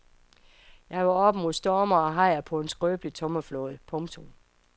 Jeg var oppe mod storme og hajer på en skrøbelig tømmerflåde. punktum